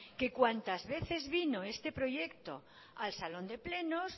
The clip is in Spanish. que cuantas veces vino este proyecto al salón de plenos